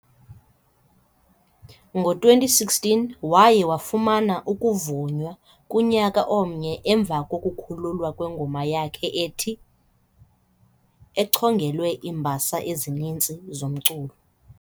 ngo-2016 kwaye wafumana ukuvunywa kunyaka omnye emva kokukhululwa kwengoma yakhe ethi "", echongelwe iimbasa ezininzi zomculo.